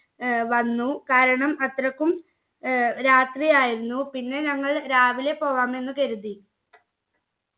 ഏർ വന്നു കാരണം അത്രക്കും ഏർ രാത്രിയായിരുന്നു പിന്നെ ഞങ്ങൾ രാവിലെ പോവാമെന്ന് കരുതി